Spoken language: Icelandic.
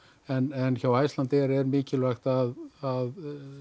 en hjá Icelandair er mikilvægt að að